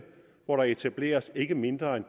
hvor der skal etableres ikke mindre end